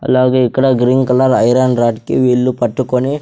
అలాగే ఇక్కడ green colour iron rod కి వీళ్ళు పట్టుకొని --